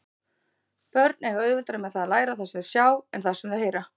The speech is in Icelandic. Börn eiga auðveldara með að læra það sem þau sjá en það sem þau heyra.